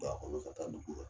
a kɔnɔ ka taa la.